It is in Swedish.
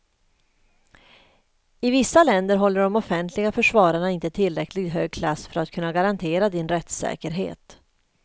I vissa länder håller de offentliga försvararna inte tillräckligt hög klass för att kunna garantera din rättssäkerhet.